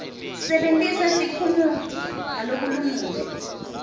sebentisa tiphumuti ngalokulungile